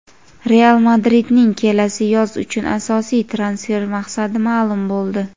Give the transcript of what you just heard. "Real Madrid"ning kelasi yoz uchun asosiy transfer maqsadi ma’lum bo‘ldi;.